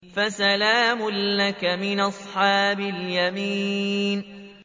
فَسَلَامٌ لَّكَ مِنْ أَصْحَابِ الْيَمِينِ